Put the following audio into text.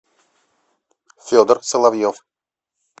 федор соловьев